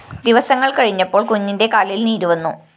ദിവസങ്ങള്‍ കഴിഞ്ഞപ്പോള്‍ കുഞ്ഞിന്റെ കാലില്‍ നീരുവന്നു